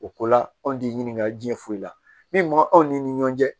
O ko la anw t'i ɲininka jiɲɛ foyi i la min anw ni ɲɔn cɛ